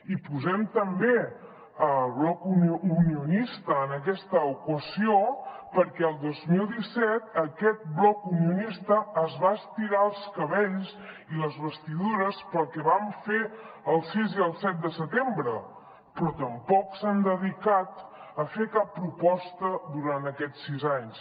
i posem també el bloc unionista en aquesta equació perquè el dos mil disset aquest bloc unionista es va estirar els cabells i les vestidures pel que vam fer el sis i el set de setembre però tampoc s’han dedicat a fer cap proposta durant aquests sis anys